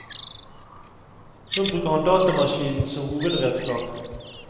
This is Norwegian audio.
Nå bruker han datamaskinen som hovedredskap.